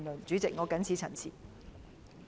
主席，我謹此陳辭。